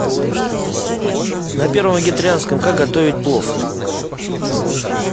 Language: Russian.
на первом вегетарианском как готовить плов